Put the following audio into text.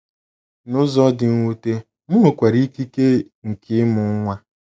N’ụzọ dị mwute, m nwekwara ikike nke ịmụ nwa.